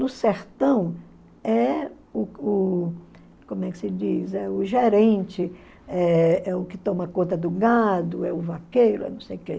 No sertão, é o o como é que se diz? É o gerente, é é o que toma conta do gado, é o vaqueiro, é não sei o que.